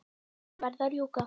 Jæja, verð að rjúka.